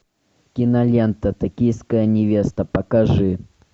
кинолента токийская невеста покажи